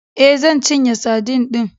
E, zan cinye sadin din.